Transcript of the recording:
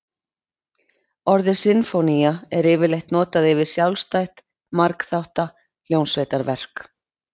Orðið sinfónía er yfirleitt notað yfir sjálfstætt margþátta hljómsveitarverk.